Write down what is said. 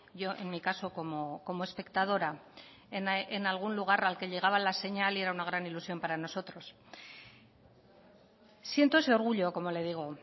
yo en mi caso como espectadora en algún lugar al que llegaba la señal y era una gran ilusión para nosotros siento ese orgullo como le digo